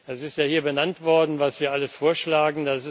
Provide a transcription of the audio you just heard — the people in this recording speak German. Es ist ja hier benannt worden, was wir alles vorschlagen.